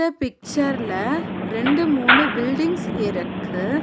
பிக்சர்ல ரெண்டு மூணு பில்டிங்ஸ் இருக்கு.